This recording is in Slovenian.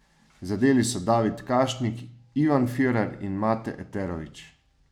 Zadeli so David Kašnik, Ivan Firer in Mate Eterović.